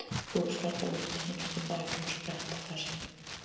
Húskarlar voru að tínast af baki og spretta af hestum.